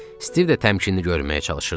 Stiv də təmkini görməyə çalışırdı.